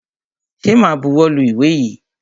Ṣẹ ma buwọ́ lu ìwé yìí?